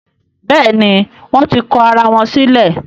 Béèni wón tí kò àrà wón sílè.